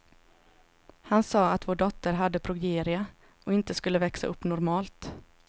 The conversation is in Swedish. Han sa att vår dotter hade progeria, och inte skulle växa upp normalt.